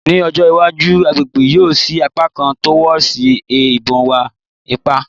Ni ojo iwaju agbegbe yoo si apakan torwards a ibon iwa-ipa